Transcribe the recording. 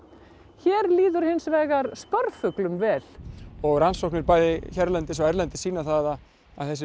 hér líður hins vegar vel og rannsóknir bæði hérlendis og erlendis sýna það að þessir